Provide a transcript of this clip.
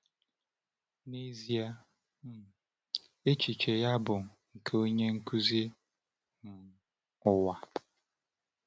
N’ezie, um echiche ya bụ nke onye nkuzi um ụwa.